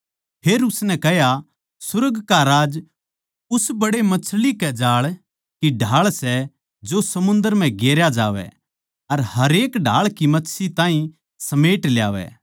फेर सुर्ग राज्य उस बड्डे मछली के जाळ की ढाळ सै जो समुन्दर म्ह गेरया जावै अर हरेक ढाळ की मच्छी ताहीं समेट ल्यावै